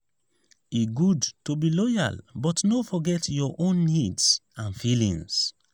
e good to be loyal but no forget your own needs and feelings.